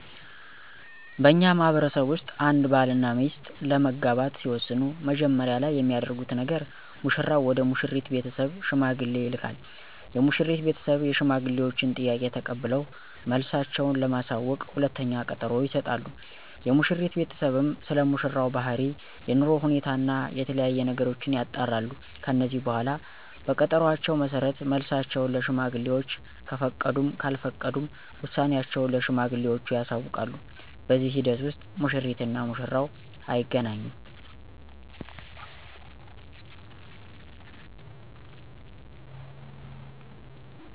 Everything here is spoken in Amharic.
በእኛ ማህበረሰብ ውስጥ አንድ ባል እና ሚስት ለመጋባት ሲወስኑ መጀመሪያ ላይ የሚያደርጉት ነገር ሙሽራው ወደ ሙሽሪት ቤተሰብ ሽማግሌ ይልካል። የሙሽሪት ቤተሰብ የሽማግሌወችን ጥያቄ ተቀብለው መልሳቸው ለማሳወቅ ሁለተኛ ቀጠሮ ይሰጣሉ። የሙሽሪት ቤተሰብም ስለሙሽራው ባህሪ፣ የኑሮ ሁኔታ እና የተለያዬ ነገሮችን ያጣራሉ። ከዚህ በኃላ በቀጠሮአቸው መሠረት መልሳቸውን ለሽማግሌወች ከፈቀዱም ካልፈቀዱም ውሳኔአቸውን ለሽማግሌወቹ ያሳውቃሉ። በዚህ ሂደት ውስጥ ሙሽሪት እና ሙሽራው አይገናኙም።